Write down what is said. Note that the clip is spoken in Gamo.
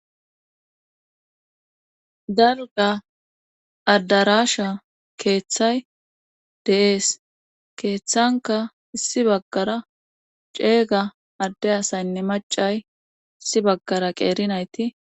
Dalga addarasha keeththay deees keeththanka issi baggara ceega adde asaynne macay issi baggara qeerinayti.